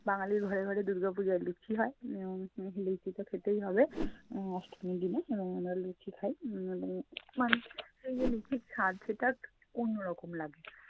বাঙালির ঘরে ঘরে দুর্গা পূজায় লুচি হয় এবং উম লুচি তো খেতেই হবে উম অষ্টমীর দিনে। এবং আমরা লুচি খাই। উম উম মায়ের হাতের যে লুচির স্বাদ সেটা অন্যরকম লাগে।